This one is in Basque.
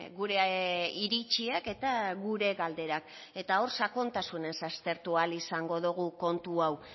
gure iritziak eta gure galderak hor sakontasunez aztertu ahal izango dogu kontu hau